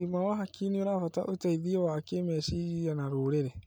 ũgima wa hakiri nĩũrabatara ũteithio wa kĩmeciria na rũrĩrĩ